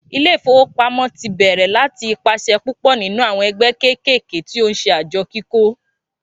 Ilé ìfowópamọ́ tí bèrè láti ipasẹ̀ púpò nínú àwọn ẹgbẹ́ kékèké tí o nṣe àjọ kíkó